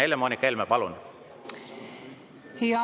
Helle-Moonika Helme, palun!